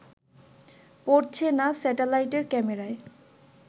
পড়ছে না স্যাটেলাইটের ক্যামেরায়